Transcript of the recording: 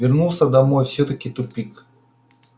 вернулся домой всё-таки тупик